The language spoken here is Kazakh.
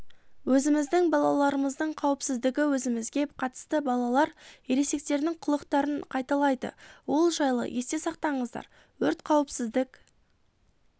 өзіміздің балаларымыздың қауіпсіздігі өзімізге қатысты балалар ересектердің қылықтарын қайталайды ол жайлы есте сақтаңыздар өрт қауіпсіздік